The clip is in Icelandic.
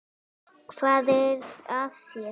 Hvað er að þér?